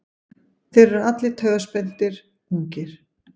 Þeir eru allir taugaspenntir, ungir.